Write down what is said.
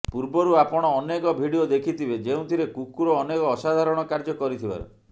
ପୂର୍ବରୁ ଆପଣ ଅନେକ ଭିଡିଓ ଦେଖିଥିବେ ଯେଉଁଥିରେ କୁକୁର ଅନେକ ଅସାଧାରଣ କାର୍ଯ୍ୟ କରିଥିବାର